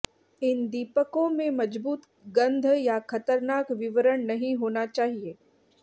इन दीपकों में मजबूत गंध या खतरनाक विवरण नहीं होना चाहिए